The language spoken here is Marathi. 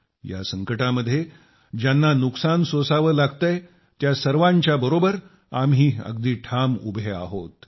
या संकटामध्ये ज्यांना नुकसान सोसावं लागतंय त्या सर्वांच्याबरोबर आम्ही सर्वजण अगदी ठाम उभे आहोत